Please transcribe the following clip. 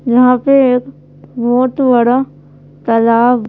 यहाँ पे एक बहुत बड़ा तालाब--